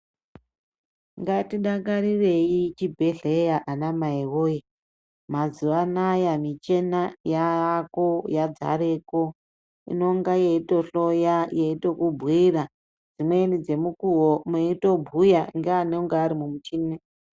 Ngatidakarirei chibhedhlera anamai woyee, mazuwa anaya michina yaako, yadzareko inonga yeitohloya yeitokubhuira dzimweni dzemukuwo meitobhuya ngeanonga vari mumichini.